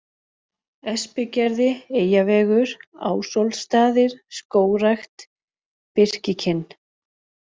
Espigerði, Eyjavegur, Ásólfsstaðir Skógrækt, Birkikinn